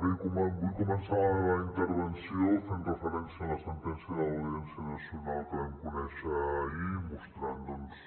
bé vull començar la meva intervenció fent referència a la sentència de l’audiència nacional que vam conèixer ahir mostrant doncs